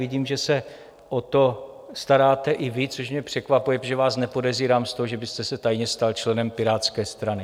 Vidím, že se o to staráte i vy, což mě překvapuje, protože vás nepodezírám z toho, že byste se tajně stal členem Pirátské strany.